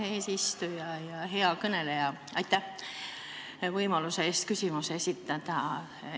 Hea eesistuja ja hea kõneleja, aitäh võimaluse eest küsimus esitada!